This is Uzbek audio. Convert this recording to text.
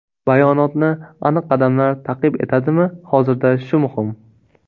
Bayonotni aniq qadamlar ta’qib etadimi hozirda shu muhim.